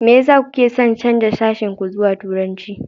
Me yasa kuke son canza sashen ku zuwa Turanci?